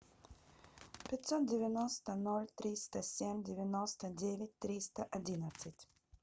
пятьсот девяносто ноль триста семь девяносто девять триста одиннадцать